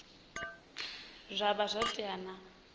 zwa vha zwo tea na